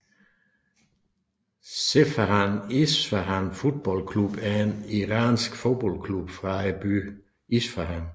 Sepahan Isfahan Football Club er en Iransk fodboldklub fra byen Isfahan